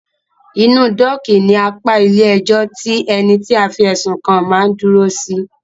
Inú dọ́ọ̀kì ní apá ilé ẹjọ́ tí ení tí a fí ẹ̀sùn kàn má ń dúró sí.